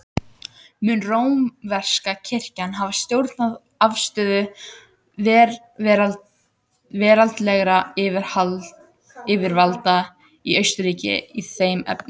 Mun rómverska kirkjan hafa stjórnað afstöðu veraldlegra yfirvalda í Austurríki í þeim efnum.